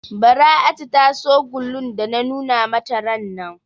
Bara'atu ta so gulun da na nuna mata rannan.